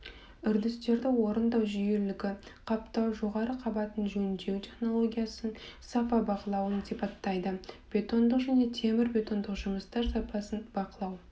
үрдістерді орындау жүйелілігі қаптау жоғары қабатын жөндеу технологиясын сапа бақылауын сипаттайды бетондық және темірбетондық жұмыстар сапасын бақылау